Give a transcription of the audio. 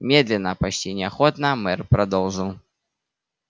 медленно почти неохотно мэр продолжил